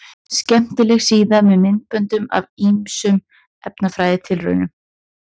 Frumulíffræðin fæddist um miðbik síðustu aldar og þarfnaðist vinnuhests sem reyndist vel á mismunandi tilraunastofum.